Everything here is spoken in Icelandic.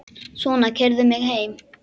Svona, keyrðu mig heim.